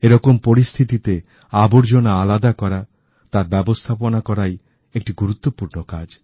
এরকম পরিস্থিতিতে আবর্জনা আলাদা করা তার ব্যবস্থাপনা করাই একটি গুরুত্বপূর্ণ কাজ